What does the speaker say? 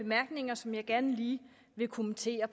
bemærkninger som jeg gerne lige vil kommentere